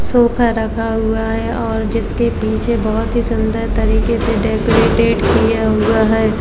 Sofa रखा हुआ है और जिसके पीछे बहुत ही सुंदर तरीके से डेकोरेटेड किया हुआ है।